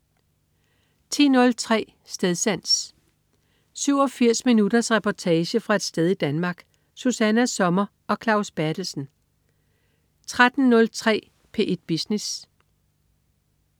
10.03 Stedsans. 87 minutters reportage fra et sted i Danmark. Susanna Sommer og Claus Berthelsen 13.03 P1 Business